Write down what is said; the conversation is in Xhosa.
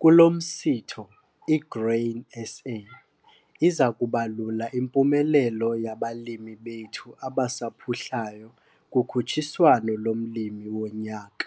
Kulo msitho i-Grain SA iza kubalula impumelelo yabalimi bethu abasaphuhlayo kukhutshiswano loMlimi woNyaka.